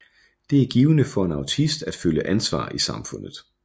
Det er givende for en autist at føle ansvar i samfundet